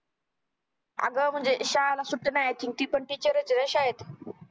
आगं म्णजे अं शाळाना सुट्टी नाय i think ती पण teacher च येना शाळेत